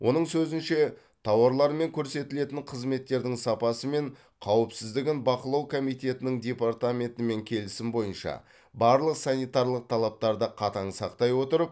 оның сөзінше тауарлар мен көрсетілетін қызметтердің сапасы мен қауіпсіздігін бақылау комитетінің департаментімен келісім бойынша барлық санитарлық талаптарды қатаң сақтай отырып